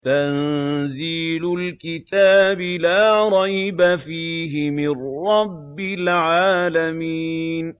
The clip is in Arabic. تَنزِيلُ الْكِتَابِ لَا رَيْبَ فِيهِ مِن رَّبِّ الْعَالَمِينَ